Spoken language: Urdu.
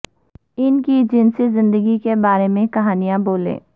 ان کی جنسی زندگی کے بارے میں کہانیاں بولیں